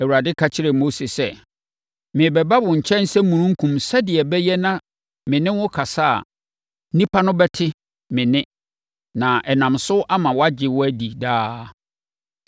Awurade ka kyerɛɛ Mose sɛ, “Merebɛba wo nkyɛn sɛ omununkum sɛdeɛ ɛbɛyɛ na me ne wo kasa a, nnipa no bɛte me nne na ɛnam so ama wɔagye wo adi daa.